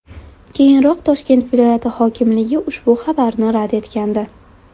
Keyinroq Toshkent viloyati hokimligi ushbu xabarni rad etgandi .